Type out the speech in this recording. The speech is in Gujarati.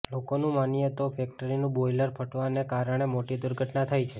લોકોનું માનીયે તો ફેક્ટરીનું બોઇલર ફાટવાને કારણે મોટી દુર્ઘટના થઇ છે